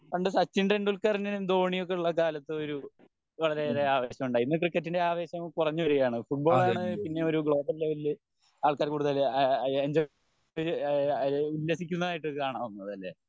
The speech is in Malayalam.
പണ്ട് സച്ചിൻ ടെണ്ടുൽക്കറും ധോണിയും ഒക്കെ ഉള്ള കാലത്ത് ഒരു വളരെയേറെ ആവേശം ഉണ്ടായി ഇന്ന് ക്രിക്കറ്റിന് ആവേശം കുറഞ്ഞു വരികയാണ് ഫുട്ബോൾ ആണ് പിന്നേം ഒരു ഗ്ലോബൽ ലെവലിൽ ആൾകാർ കൂടുതൽ ആഹ് എന്ജോയ് ഏഹ് രസിക്കുന്നതായിട്ട് കാണാവുന്നത് അല്ലെ